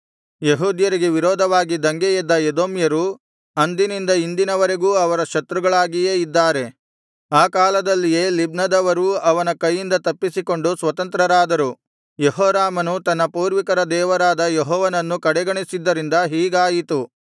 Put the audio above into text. ಯೆಹೂದ್ಯರಿಗೆ ವಿರೋಧವಾಗಿ ದಂಗೆಯೆದ್ದ ಎದೋಮ್ಯರು ಅಂದಿನಿಂದ ಇಂದಿನ ವರೆಗೂ ಅವರ ಶತ್ರುಗಳಾಗಿಯೇ ಇದ್ದಾರೆ ಆ ಕಾಲದಲ್ಲಿಯೇ ಲಿಬ್ನದವರೂ ಅವನ ಕೈಯಿಂದ ತಪ್ಪಿಸಿಕೊಂಡು ಸ್ವತಂತ್ರರಾದರು ಯೆಹೋರಾಮನು ತನ್ನ ಪೂರ್ವಿಕರ ದೇವರಾದ ಯೆಹೋವನನ್ನು ಕಡೆಗಣಿಸಿದ್ದರಿಂದ ಹೀಗಾಯಿತು